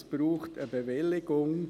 Es braucht also eine Bewilligung.